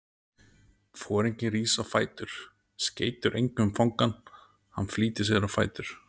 Foringinn rís á fætur, skeytir engu um fangann, hann flýtir sér á fætur.